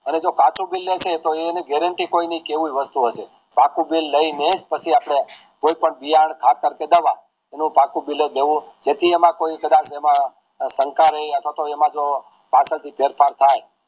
અને જો કાચું bill લેશે તો એની કોઈ guarantee કોઈ નહિ કેવું વસ્તુ હંસ પાકું bill લાયી નેજ પછી આપણે કોઈ પણ કે ખાતેર પેદાવા એનું પાકું બિલ્લાજ લેવું જેટી એમાં કોઈ કદાજ એમાં શંકા નહિ અથવા તો એમાં જો પાર્સલ ભી ફેર ફાર થાય